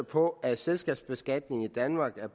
på at selskabsbeskatningen i danmark